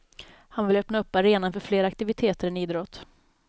Han vill öppna upp arenan för fler aktiviteter än idrott.